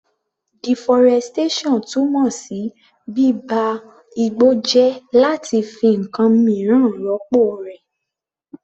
Deforestation túmọ̀ sí bíba igbó jẹ́ láti fi ǹkan míràn rọ́pọ̀ rẹ̀.